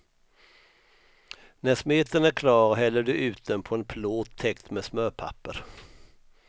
När smeten är klar häller du ut den på en plåt täckt med smörpapper.